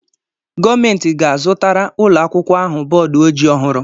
Gọọmenti ga-azụtara ụlọakwụkwọ ahụ bọọdụ ojii ọhụrụ.